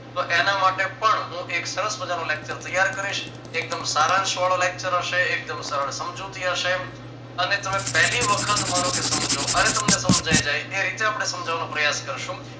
તો એના માટે પણ હું એક સરસ મજાનો lecture તૈયાર કરીશ એકદમ સારાંશ વાળો lecture હશે એકદમ સરળ સમજૂતી હશે અને તમે પહેલી વખત માનો કે સમજો અને તમને સમજાય જાય એ રીતે આપણે સમજાવવાનો પ્રયાશ કરશું.